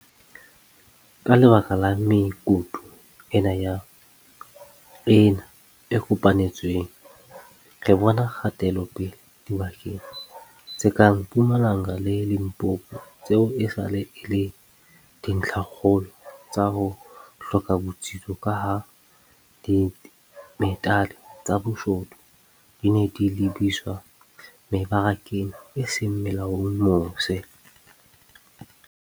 Ka lebaka la mekutu ena e kopanetsweng, re bona kgatelopele dibakeng tse kang Mpumalanga le Limpopo tseo esale e le dintlhakgolo tsa ho hloka botsitso kaha dimetale tsa boshodu di ne di lebiswa mebarakeng e seng molaong mose.